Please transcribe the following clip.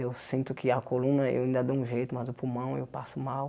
Eu sinto que a coluna eu ainda dou um jeito, mas o pulmão eu passo mal.